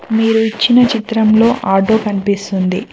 మీరు ఇచ్చిన చిత్రంలో ఆటో కనిపిస్తుంది.